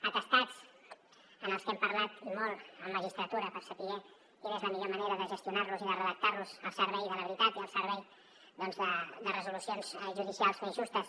atestats dels quals hem parlat i molt amb magistratura per saber quina és la millor manera de gestionar los i de redactar los al servei de la veritat i al servei doncs de resolucions judicials més justes